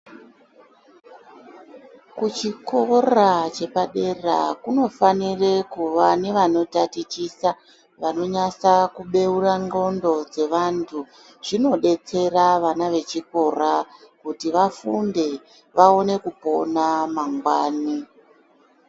Kuchikora chepadera kunofanire kuva nevanotatichisa, vanonyasa kubeura ndxondo dzevantu. Zvinodetsera vana vechikora, kuti vafunde ,vaone kupona mangwani.